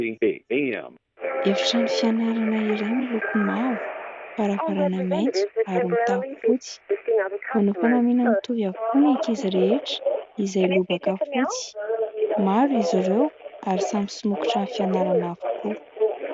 Efitrano fianarana iray miloko mavo, varavarana maitso ary mitafo fotsy ; manao fanamiana mitovy avokoa ny ankizy rehetra izay: lobaka fotsy ; maro izy ireo ary samy somokotran'ny fianarana avokoa.